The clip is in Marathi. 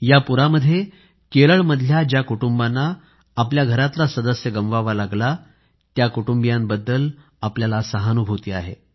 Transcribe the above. या पुरामध्ये केरळमधल्या ज्या परिवारांना आपल्या घरातला सदस्य गमवावा लागला त्या कुटुंबियांबद्दल आपल्याला सहानुभूती आहे